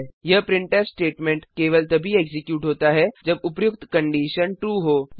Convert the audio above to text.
यह printf statement केवल तभी एक्जीक्यूट होता है जब उपर्युक्त कंडिशन ट्रू हो